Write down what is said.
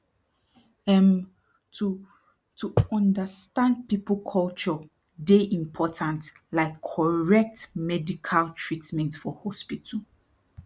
emm to to understand people culture dey important like correct medical treatment for hospital